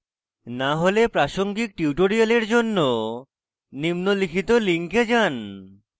না হলে প্রাসঙ্গিক tutorials জন্য নিম্নলিখিত লিঙ্কে যান